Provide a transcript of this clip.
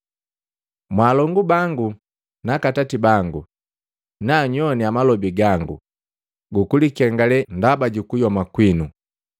“Mwaalongu bangu naaka atati bangu, na nyowana malobi gangu gukulikengale ndaba jukuyoma kwinu!”